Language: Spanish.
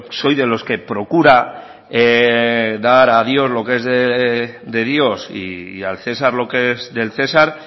soy de los que procura dar a dios lo que es de dios y al cesar lo que es del cesar